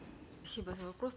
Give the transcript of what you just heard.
спасибо за вопрос